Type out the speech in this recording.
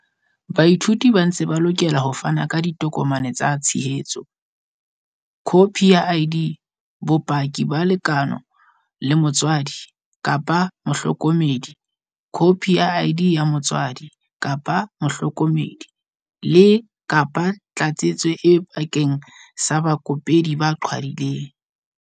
Baithuti ba ntse ba lokela ho fana ka ditokomane tsa tshehetso, khopi ya ID, bopaki ba lekeno la motswadi, kapa mohloko medi, khopi ya ID ya motswadi, kapa mohloko medi, le, kapa Tlatsetso A bakeng sa baikopedi ba qhwadileng.